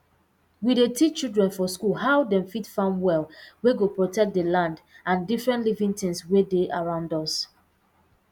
we dey teach children for school how dem fit farm well wey go protect d land and different living tins wey dey around us